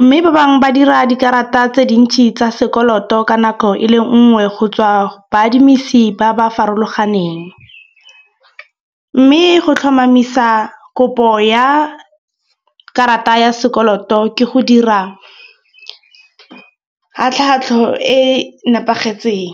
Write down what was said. Mme ba bangwe ba dira dikarata tse dintsi tsa sekoloto ka nako e le nngwe go tswa baadimisi ba ba farologaneng. Mme go tlhomamisa kopo ya karata ya sekoloto ke go dira ka tlhatlho e nepagetseng.